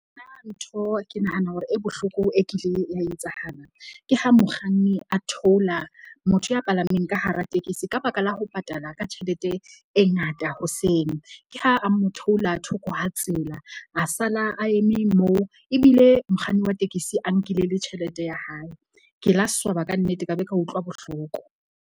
Nna ntho ke nahana hore e bohloko e kile ya etsahala ke ha mokganni a theola motho ya palameng ka hara tekesi ka baka la ho patala ka tjhelete e ngata hoseng. Ke ha a mo theola thoko ha tsela, a sala a eme moo ebile mokganni wa tekesi a nkile le tjhelete ya hae. Ke la swaba kannete, ka be ka utlwa bohloko.